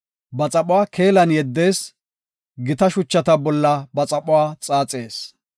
Ba xaphuwa keelan yeddees; gita shucha bolla ba xaphuwa xaaxees.